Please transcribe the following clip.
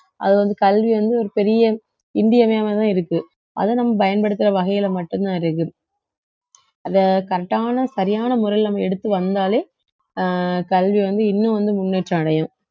அது வந்து கல்வி வந்து ஒரு பெரிய இன்றியமையாததா இருக்கு அதை நம்ம பயன்படுத்துற வகையில மட்டும்தான் இருக்கு அத correct ஆன சரியான முறையில நம்ம எடுத்து வந்தாலே அஹ் கல்வி வந்து இன்னும் வந்து முன்னேற்றம் அடையும்